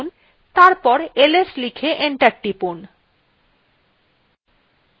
তারপর ls লিখে enter টিপুন